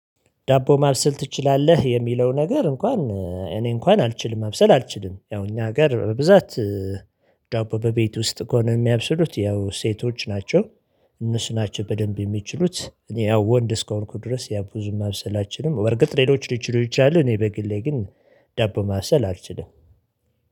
ዳቦ ማብሰል ትችላለህ የሚለው ነገር እንኳን እኔ እንኳን አልችልም መብሰል አልችልም ያው እኛ ሀገር በብዛት ዳቦ በቤት ውስጥ ከሆነ የሚያበስሉት ያው ሴቶች ናቸው። እነሱ ናቸው በደንብ የሚችሉት እኔ ያው ወንድ እስካሁን ድረስ ያው ብዙ ማብሰል አልችልም። በርግጥ ሌሎች ሊችሉ ይችላሉ እኔ በግሌ ግን ዳቦ ማሰል አልችልም።